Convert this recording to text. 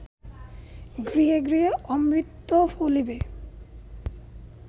গৃহে গৃহে অমৃত ফলিবে